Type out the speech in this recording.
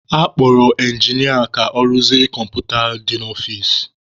A kpọrọ ịnginịa ka ọ rụzie kọmputa dị n'ọfici.